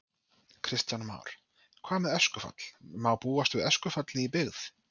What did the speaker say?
Kristján Már: Hvað með öskufall, má búast við öskufalli í byggð?